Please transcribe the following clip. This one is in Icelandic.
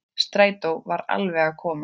Strætó var alveg að koma.